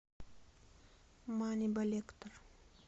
маннибалектор